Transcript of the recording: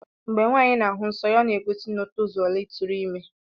Ngbo nwanyi na ahu nsọ ya ọna egosi na otozuola itụrụ ime.